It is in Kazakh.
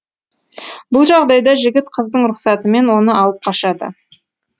бұл жағдайда жігіт қыздың рұқсатымен оны алып қашады